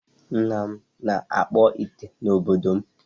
Nna m na-akpụ ite n'obodo m.